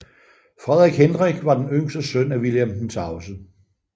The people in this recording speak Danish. Frederik Hendrik var den yngste søn af Vilhelm den Tavse